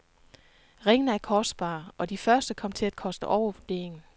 Ringene er kostbare, og de første kom til at koste over vurderingen.